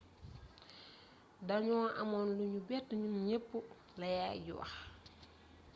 danu amoon lu nu bett ñun ñepp la yaay ji wax